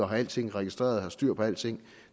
have alting registreret og have styr på alting